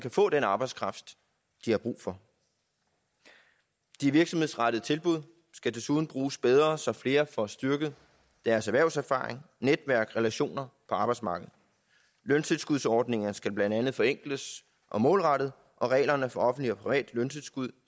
få den arbejdskraft de har brug for de virksomhedsrettede tilbud skal desuden bruges bedre så flere får styrket deres erhvervserfaring netværk relationer på arbejdsmarkedet løntilskudsordningerne skal blandt andet forenkles og målrettes og reglerne for offentligt og privat løntilskud